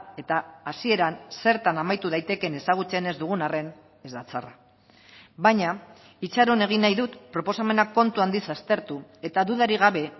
eta hasieran zertan amaitu daitekeen ezagutzen ez dugun arren ez da txarra baina itxaron egin nahi dut proposamena kontu handiz aztertu eta dudarik gabe